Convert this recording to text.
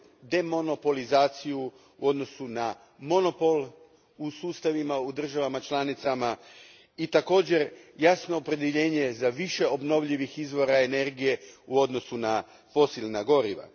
demonopolizaciju u odnosu na monopol u sustavima, u državama članicama i također jasno opredjeljenje za više obnovljivih izvora energije u odnosu na fosilna goriva.